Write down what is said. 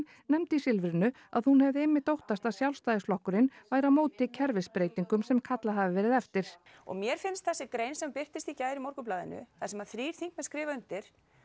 nefndi í Silfrinu að hún hefði einmitt óttast að Sjálfstæðisflokkurinn væri á móti kerfisbreytingum sem kallað hafi verið eftir og mér finnst þessi grein sem birtist í gær í Morgunblaðinu þar sem að þrír þingmenn skrifa undir